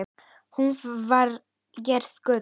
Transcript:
Hún var gerð úr gulli.